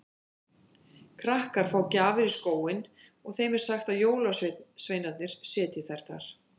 Krakkar fá gjafir í skóinn og þeim er sagt að jólasveinarnir setji þær þar.